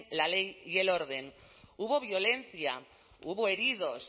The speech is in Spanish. la ley y el orden hubo violencia hubo heridos